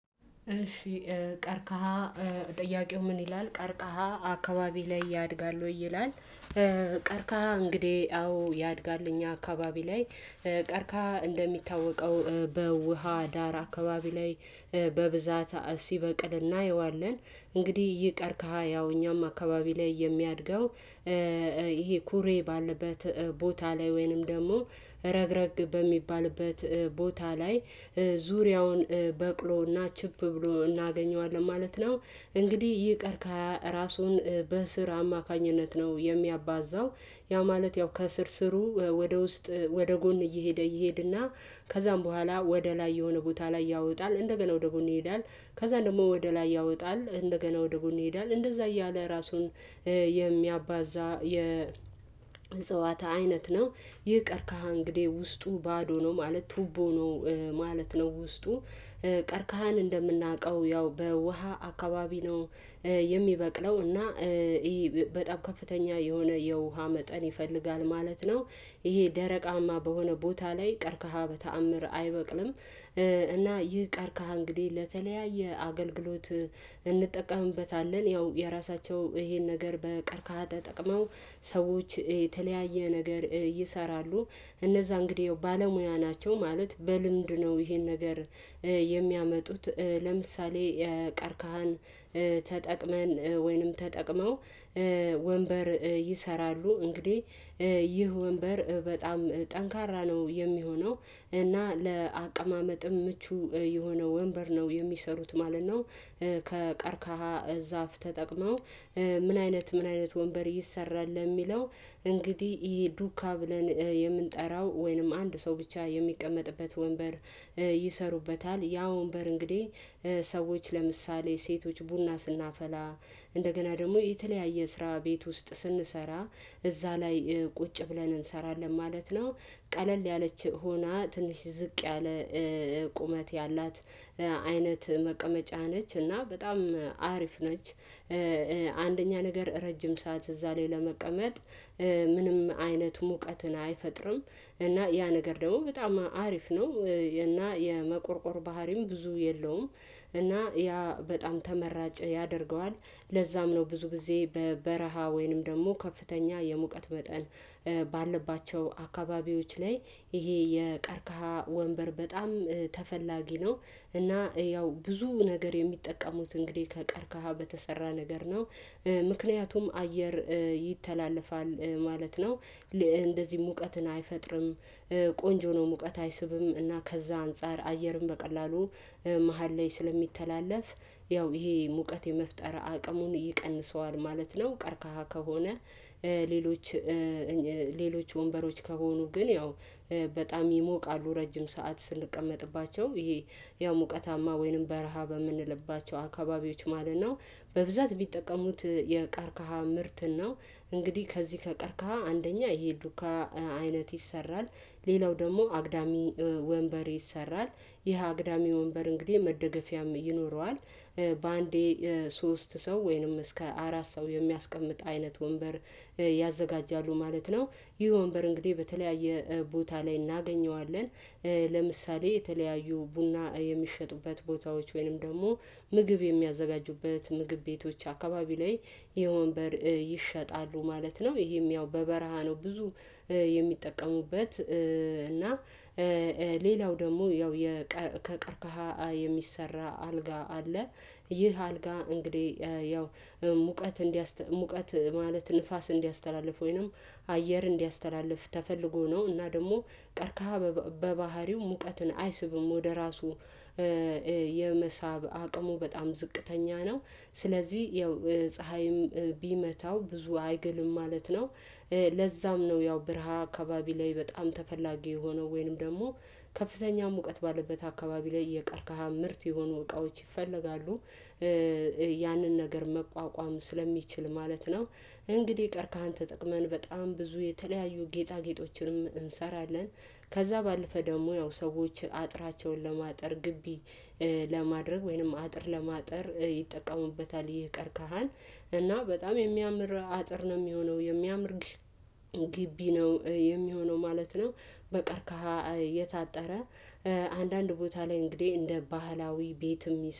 እሺ ቀርቃሃ ጥያቄው ምን ይላል ቀርቃሃ አካባቢ ላይ ያድጋል ወይ ይላል? እንግዲህ አዎ ያድጋል እኛ አካባቢ ላይ። ቀርቀሃ እንደሚታወቀው በውሃ ዳር አካባቢ ላይ በብዛት ሲበቅል እናየዋለን እንግዲህ ይህ ቀርቀሃ ያው እኛም አካባቢ ላይ የሚያድገው ይሄ ኩሬ ባለበት ቦታ ላይ ወይንም ደግሞ ረግረግ በሚባልበት ቦታ ላይ ዙሪያውን በቅሎና ችፕ ብሎ እናገኘዋለን ማለት ነው። እንግዲህ ይቅር ከራሱን በስር አማካኝነት ነው የሚያባዛው። ያ ማለት ያው ከስር ስሩ ወደ ውስጥ ወደ ጎን እየሄደ እየሄደና ከዛም በኋላ ወደ ላይ የሆነ ቦታ ላይ ያወጣል እንደገና ወደ ጎን ይሄዳል። ከዛ ደግሞ ወደ ላይ ያወጣል እንደገና ወደ ጎን ይሄዳል እንደዛ እያለ ራሱን የሚያባዛ የእጽዋት አይነት ነው። ይህ ቀርቀሃ እንግዲህ ውስጡ ባዶ ነው ማለት ትቦ ነው። ማለት ነው ውስጡ ቀርቀሃን እንደምናውቀው ያው በውሃ አካባቢ ነው። የሚበቅለው እና ይሄ በጣም ከፍተኛ የሆነ የውሃ መጠን ይፈልጋል ማለት ነው። ይሄ ደረቃማ በሆነ ቦታ ላይ ቀርቀሃ በተአምር አይበቅልም። እና ይህ ቀርቀሃ እንግዲህ ለተለያየ አገልግሎት እንጠቀምበታለን ያው የራሳቸው ይሄን ነገር በቀርካሃ ተጠቅመው ሰዎች የተለያየ ነገር ይሰራሉ። እነዛ እንግዲህ ባለሙያ ናቸው ማለት በልምድ ነው ይሄን ነገር የሚያመጡት። ለምሳሌ ቀርቀሃን ተጠቅመን ወይንም ተጠቅመው ወንበር ይሰራሉ። እንግዲህ ይህ ወንበር በጣም ጠንካራ ነው የሚሆነው እና ለአቀማመጥም ምቹ የሆነ ወንበር ነው የሚሰሩት ማለት ነው። ከቀርቀሃ ዛፍ ተጠቅመው ምን አይነት ምን አይነት ወንበር ይሰራል የሚለው? እንግዲህ ይሄ ዱካ ብለን የምንጠራው ወይንም አንድ ሰው ብቻ የሚቀመጥበት ወንበር ይሰሩበታል ያ ወንበር እንግዲህ ሰዎች ለምሳሌ ሴቶች ቡና ስናፈላ እንደገና ደግሞ የተለያየ ስራ ቤት ውስጥ ስንሰራ እዛ ላይ ቁጭ ብለን እንሰራለን ማለት ነው። ቀለል ያለች ሆና ትንሽ ዝቅ ያለ ቁመት ያላት አይነት መቀመጫ ነች እና በጣም አሪፍ ነች። አንደኛ ነገር ረጅም ሰዓት እዛ ላይ ለመቀመጥ ምንም አይነት ሙቀትን አይፈጥርም። እና ያነገር ደግሞ በጣም አሪፍ ነው። እና የመቆርቆር ባህሪም ብዙ የለውም። እና ያ በጣም ተመራጭ ያደርገዋል ለዛም ነው ብዙ ጊዜ በበረሃ ወይንም ደግሞ ከፍተኛ የሙቀት መጠን። ባለባቸው አካባቢዎች ላይ ይሄ የቀርካሃ ወንበር በጣም ነው። እና ያው ብዙ ነገር የሚጠቀሙት እንግዲህ ከቀርቀሃ በተሰራ ነገር ነው። ምክንያቱም አየር ይተላለፋል ማለት ነው። እንደዚህ ሙቀትን አይፈጥርም። ቆንጆ ነው ሙቀት አይስብም እና ከዛ አንፃር አየርም በቀላሉ መሃል ላይ ስለሚተላለፍ ያው ይሄ ሙቀት የመፍጠር አቅሙን ይቀንሰዋል ማለት ነው። ቀርቀሃ ከሆነ ሌሎች ሌሎች ወንበሮች ከሆኑ ግን ያው በጣም ይሞቃሉ። ረጅም ሰዓት ስንቀመጥባቸው ይሄ ያው ሙቀታማ ወይንም በረሃ በምንልባቸው አካባቢዎች ማለት ነው። በብዛት ቢጠቀሙት የቀርካሃ ምርት ነው። እንግዲህ ከዚህ ከቀርቀሃ አንደኛ ይሄ ሉካ አይነት ይሰራል። ሌላው ደግሞ አግዳሚ ወንበር ይሰራል። ይህ አግዳሚ ወንበር እንግዲህ መደገፊያም ይኖረዋል። በአንዴ ሶስት ሰው ወይንም እስከ አራት ሰው የሚያስቀምጥ አይነት ወንበር ያዘጋጃሉ ማለት ነው። ይህ ወንበር እንግዲህ በተለያየ ቦታ ላይ እናገኘዋለን። ለምሳሌ የተለያዩ ቡና የሚሸጡበት ቦታዎች ወይንም ደግሞ ምግብ የሚያዘጋጁበት ምግብ ቤቶች አካባቢ ላይ የወንበር ይሸጣሉ ማለት ነው። ይሄም ያው በበረሃ ነው ብዙ የሚጠቀሙበት። ሌላው ደግሞ ያው ከቀርከሃ የሚሰራ አልጋ አለ። ይህ አልጋ እንግዲህ ያው ሙቀት እንዲያስ ሙቀት ማለት ንፋስ እንዲያስተላልፍ ወይንም አየር እንዲያስተላልፍ ተፈልጎ ነው እና ደግሞ ቀርከሃ በባህሪው ሙቀትን አይስብም ወደ ራሱ የመሳብ አቅሙ በጣም ዝቅተኛ ነው። ስለዚህ ያው ፀሀይም ቢመታው ብዙ አይገልም ማለት ነው። ለዛም ነው ያው ብርሃ አካባቢ ላይ በጣም ተፈላጊ የሆነው ወይንም ደግሞ ከፍተኛ ሙቀት ባለበት አካባቢ ላይ የቀርቀሃ ምርት የሆኑ እቃዎች ይፈለጋሉ። ያንን ነገር መቋቋም ስለሚችል ማለት ነው። እንግዲህ ቀርካሃን ተጠቅመን በጣም ብዙ የተለያዩ ጌጣጌጦችንም እንሰራለን። ከዛ ባለፈ ደግሞ ያው ሰዎች አጥራቸውን ለማጥር ግቢ ለማድረግ ወይንም አጥር ለማጠር ይጠቀሙበታል። ቀርቀሃል እና በጣም የሚያምር አጥር ነው የሚሆነው የሚያምር ግቢ ነው የሚሆነው ማለት ነው። በቀርቀሃ የታጠረ አንዳንድ ቦታ ላይ እንግዲህ እንደ ባህላዊ ቤት የሚሰሩ